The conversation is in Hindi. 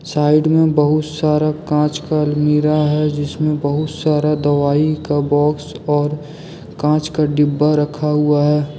साइड में बहुत सारा कांच का अलमीरा है जिसमें बहुत सारा दवाई का बॉक्स और कांच का डिब्बा रखा हुआ है।